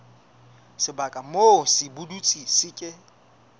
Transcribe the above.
sebaka moo sepudutsi se ke